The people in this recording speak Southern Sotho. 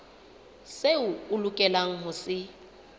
seo a lokelang ho se